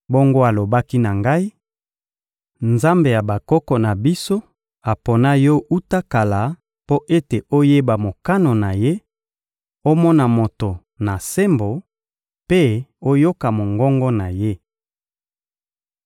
Bongo alobaki na ngai: «Nzambe ya bakoko na biso apona yo wuta kala mpo ete oyeba mokano na Ye, omona Moto na sembo mpe oyoka mongongo na Ye.